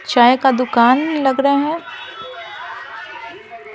चाय का दुकान लग रहा हैं।